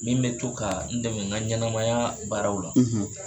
Min bɛ to ka n dɛmɛ n ka ɲɛnamaya baaraw la.